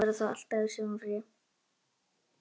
Maður verður þá alltaf í sumarfríi